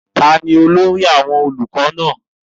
ta ni olórí àwọn olùkọ náà?